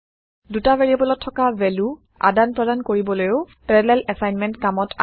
দুটা ভেৰিয়েবোলত থকা ভেলু আদান প্ৰদান কৰিবলৈও পেৰালেল এছাইনমেণ্ট কামত অাহে